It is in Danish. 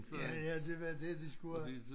Ja ja det var det de skulle have